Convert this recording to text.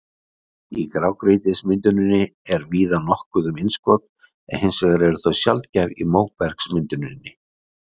Í grágrýtismynduninni er víða nokkuð um innskot en hins vegar eru þau sjaldgæf í móbergsmynduninni.